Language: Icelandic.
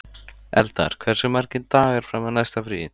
Eldar, hversu margir dagar fram að næsta fríi?